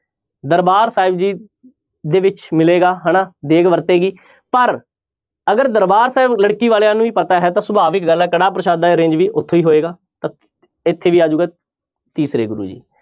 ਦਰਬਾਰ ਸਾਹਿਬ ਜੀ ਦੇ ਵਿੱਚ ਮਿਲੇਗਾ ਹਨਾ ਦੇਗ ਵਰਤੇਗੀ ਪਰ ਅਗਰ ਦਰਬਾਰ ਸਾਹਿਬ ਲੜਕੀ ਵਾਲਿਆਂ ਨੂੰ ਹੀ ਪਤਾ ਹੈ ਤਾਂ ਸੁਭਾਵਿਕ ਗੱਲ ਹੈ ਕੜਾਹ ਪ੍ਰਸ਼ਾਦ ਦਾ arrange ਵੀ ਉੱਥੇ ਹੀ ਹੋਏਗਾ ਤਾਂ ਇੱਥੇ ਕੀ ਆ ਜਾਊਗਾ ਤੀਸਰੇ ਗੁਰੂ ਜੀ।